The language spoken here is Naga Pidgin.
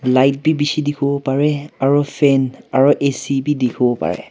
light be bishi dikhibo pare aru fan aru A_C be dikhi bo pare.